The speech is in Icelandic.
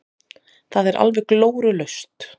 Það er alveg glórulaust.